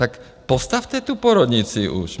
Tak postavte tu porodnici už.